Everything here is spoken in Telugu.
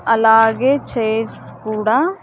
అలాగే చైర్స్ కూడా.